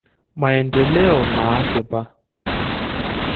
Maendeleo naasipa .